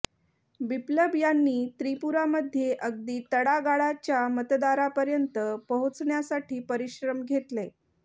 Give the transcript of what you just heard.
बिप्लब यांनी त्रिपुरामध्ये अगदी तळागाळाच्या मतदारापर्यंत पोहोचण्यासाठी परिश्रम घेतले